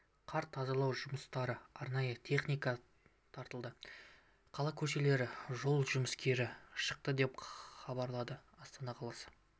қар тазалау жұмыстарына арнайы техника тартылды қала көшелеріне жол жұмыскері шықты деп хабарлады астана қаласы